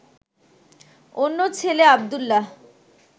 অন্য ছেলে আব্দুল্লাহ